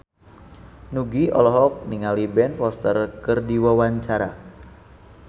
Nugie olohok ningali Ben Foster keur diwawancara